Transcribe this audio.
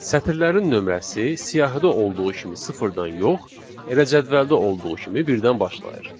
Sətirlərin nömrəsi siyahıda olduğu kimi sıfırdan yox, elə cədvəldə olduğu kimi birdən başlayır.